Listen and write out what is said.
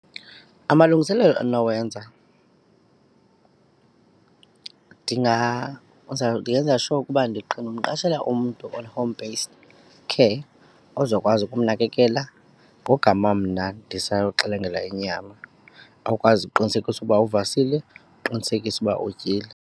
Amalungiselelo endinowenza ndingenza sure uba ndimqashela umntu on home-based care ozokwazi ukumnakekela ngogama mna ndisayoxelengela inyama, akwazi kuqinisekisa ukuba uvasile aqinisekise ukuba utyile.